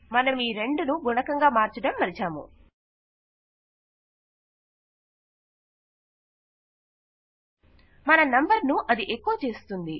మనమీ 2 ను గుణకం గా మార్చడం మరచాము మన నంబర్ ను అది ఎకొ చేస్తుంది